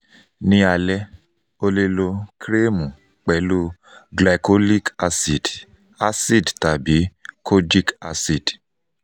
ni alẹ o le lo kremu pẹlu glycolic acid acid tabi kojic acid